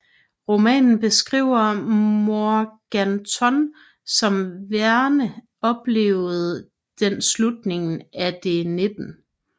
Romanen beskriver Morganton som Verne oplevede den slutningen af det 19